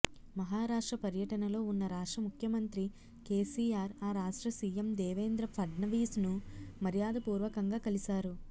మహారాష్ట్ర పర్యటనలో ఉన్న రాష్ట్ర ముఖ్యమంత్రి కేసీఆర్ ఆ రాష్ట్ర సీఎం దేవేంద్ర ఫడ్నవీస్ను మర్యాదపూర్వకంగా కలిశారు